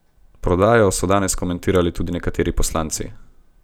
Prodajo so danes komentirali tudi nekateri poslanci.